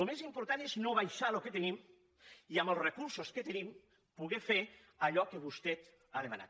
el més important és no abaixar el que tenim i amb els recursos que tenim poder fer allò que vostè ha demanat